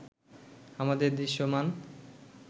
আমাদের দৃশ্যমান